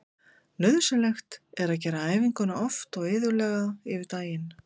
Nauðsynlegt er að gera æfinguna oft og iðulega yfir daginn.